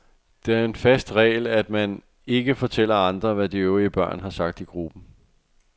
Det er en fast regel, at man ikke fortæller andre, hvad de øvrige børn har sagt i gruppen.